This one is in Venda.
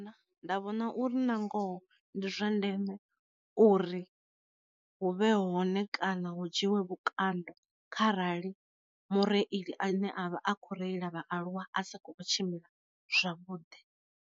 Nda vhona uri nangoho ndi zwa ndeme uri hu vhe hone kana hu dzhiwe vhukando kharali mureili a ne a vha a khou reila vhaaluwa a sa kho tshimbila zwavhuḓi.